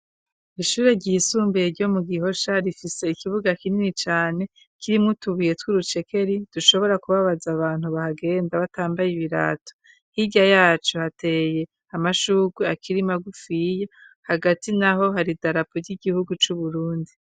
Ishure ryisumbaye ryo mu Ghosha rifise ikibuga kinini cane kirimwo utubuye tw'urucekeri dushobora kubabaza abantu bahagenda batambaye ibirato hirya yaco hateye amashurwe akirimagufiye hagati naho hari idarapu ry'igihugu cu Burundi.